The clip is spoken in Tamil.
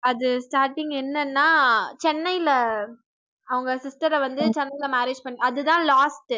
அது starting என்னனா சென்னையில அவங்க sister அ வந்து சென்னையில marriage பண்ணி அதுதான் last உ